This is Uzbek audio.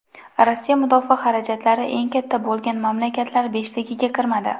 Rossiya mudofaa xarajatlari eng katta bo‘lgan mamlakatlar beshligiga kirmadi.